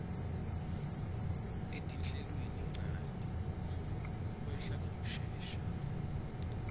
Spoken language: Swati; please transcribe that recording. etinhlelweninchanti kwehla ngekushesha